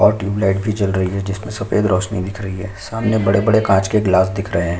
और ट्यूबलाइट भी जल रही है जिसमें सफ़ेद रोशनी दिख रही है सामने बड़े-बड़े कांच के गिलास दिख रहे है।